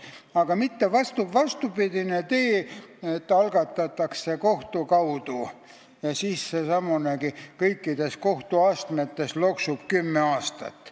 Aga pole vaja vastupidist teed, et see algatatakse kohtu kaudu ja asi loksub kõikides kohtuastmetes kümme aastat.